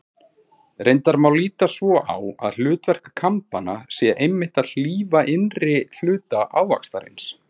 Reyndar má líta svo á að hlutverk kambanna sé einmitt að hlífa innri hluta ávaxtarins.